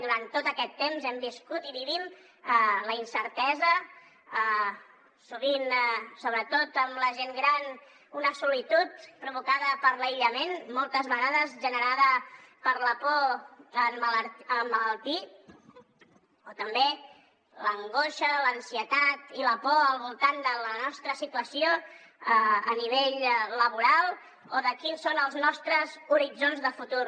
durant tot aquest temps hem viscut i vivim la incertesa sovint sobretot amb la gent gran una solitud provocada per l’aïllament moltes vegades generada per la por a emmalaltir o també l’angoixa l’ansietat i la por al voltant de la nostra situació a nivell laboral o de quins són els nostres horitzons de futur